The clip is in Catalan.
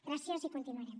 gràcies i continuarem